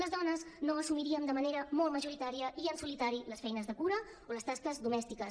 les dones no assumiríem de manera molt majoritària i en solitari les feines de cura o les tasques domèstiques